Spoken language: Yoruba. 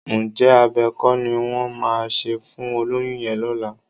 Ǹjẹ́ abẹ kọ́ ni wọ́n máa ṣe fún olóyún yẹn lọ́la?